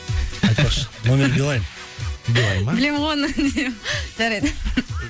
айтпақшы номер билаин билаин ба білемін ғой оны жарайды